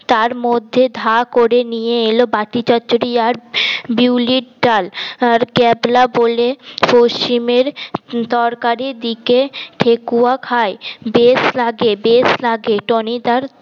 তার মধ্যে ধা করে নিয়ে এলো বাটি চচ্চড়ি আর বিউলির ডাল ক্যাবলা বলে পশ্চিমের তরকারির দিকে ঠেকুয়া খায় বেশ লাগে বেশ লাগে টনিদার